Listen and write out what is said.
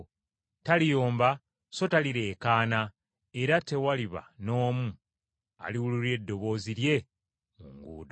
Taliyomba so talireekaana, era tewaliba n’omu aliwulira eddoboozi lye mu nguudo.